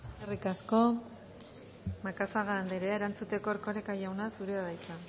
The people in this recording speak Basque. esker eskerrik asko macazaga anderea erantzuteko erkoreka jauna zurea da hitza